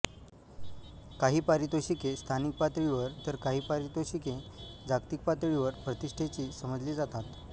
काही पारितोषिके स्थानिक पातळीवर तर काही पारितोषिके जागतिक पातळीवर प्रतिष्ठेची समजली जातात